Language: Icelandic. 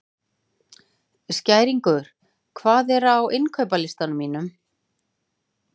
Skæringur, hvað er á innkaupalistanum mínum?